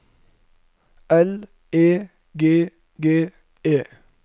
L E G G E